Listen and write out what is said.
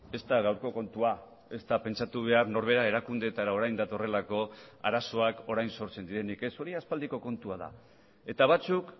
ez da gaurko kontua ezta pentsatu behar norbera erakundeetara orain datorrelako arazoak orain sortzen direnik ez hori aspaldiko kontua da eta batzuk